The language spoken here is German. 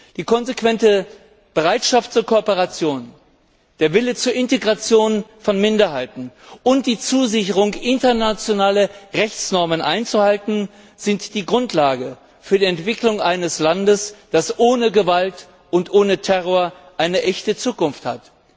Die konsequente Bereitschaft zur Kooperation, der Wille zur Integration von Minderheiten und die Zusicherung, internationale Rechtsnormen einzuhalten, sind die Grundlage für die Entwicklung eines Landes, das ohne Gewalt und ohne Terror eine echte Zukunft hat.